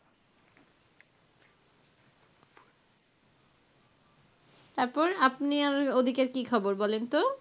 তো তারপর আপনি ওদিকের কি খবর বলেন তো?